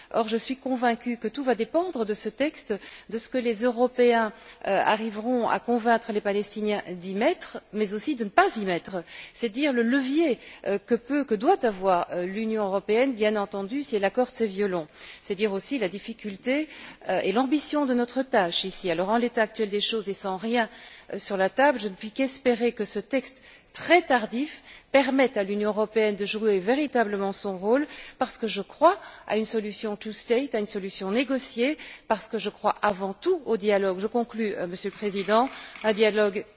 Or, je suis convaincue que tout va dépendre de ce texte, des éléments que les Européens convaincront les Palestiniens d'y inclure mais aussi de ne pas y inclure. C'est dire le levier que peut et doit avoir l'Union européenne, bien entendu si elle accorde ses violons. C'est dire aussi la difficulté et l'ambition de notre tâche. En l'état actuel des choses et sans rien sur la table, je ne puis qu'espérer que ce texte, très tardif, permette à l'Union européenne de jouer véritablement son rôle, parce que je crois à une solution à deux États, à une solution négociée, parce que je crois avant tout au dialogue je conclus, Monsieur le Président dialogue